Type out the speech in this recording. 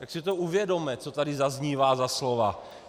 Tak si to uvědomme, co tady zaznívá za slova.